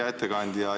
Hea ettekandja!